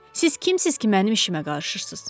Siz kimsiz ki, mənim işimə qarışırsız?